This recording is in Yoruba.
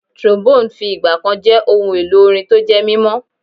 Trombone fi ìgbà jẹ́ ohun èlò orin tó jẹ́ mímọ́.